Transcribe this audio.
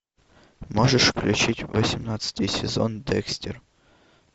можешь включить восемнадцатый сезон декстер